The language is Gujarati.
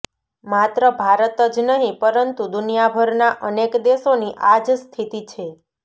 માત્ર ભારત જ નહીં પરંતુ દુનિયાભરના અનેક દેશોની આ જ સ્થિતિ છે